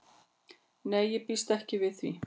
Nei ég býst ekki við því.